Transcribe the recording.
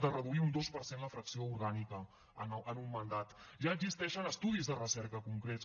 de reduir un dos per cent la fracció orgànica en un mandat ja existeixen estudis de recerca concrets